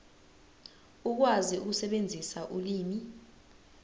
ukwazi ukusebenzisa ulimi